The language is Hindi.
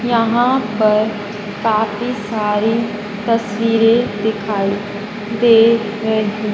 यहां पर काफी सारी तस्वीरें दिखाई दे रही--